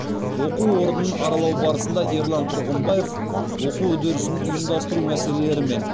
оқу орнын аралау барысында ерлан тұрғымбаев оқу үдерісін ұйымдастыру мәселелерімен